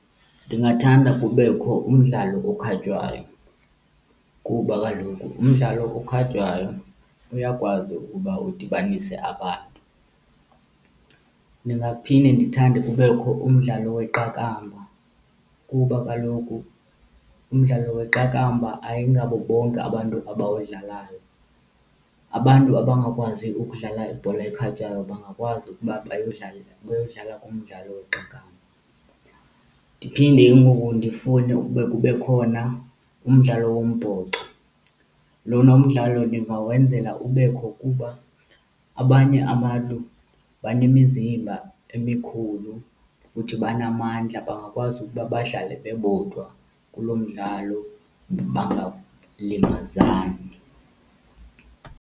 Ndingathanda kubekho umdlalo okhatywayo kuba kaloku umdlalo okhatywayo uyakwazi ukuba udibanise abantu. Ndingaphinda ndithande kubekho umdlalo weqakamba kuba kaloku umdlalo weqakamba ayingabo bonke abantu abawudlalayo. Abantu abangakwazi ukudlala ibhola ekhatywayo bangakwazi ukuba bawudlale, bayodlala umdlalo weqakamba. Ndiphinde ke ngoku ndifune ukuba kube khona umdlalo wombhoxo. Lona umdlalo ndingawenzela ubekho kuba abanye abantu banemizimba emikhulu futhi banamandla bangakwazi uba badlale bebodwa kulo mdlalo bangalimazani.